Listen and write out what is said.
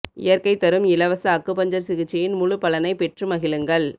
இயற்கை தரும் இலவச அக்குபஞ்சர் சிகிச்சையின் முழு பலனை பெற்று மகிழுங்கள்